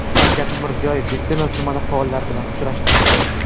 Shavkat Mirziyoyev Bektemir tumani faollari bilan uchrashdi.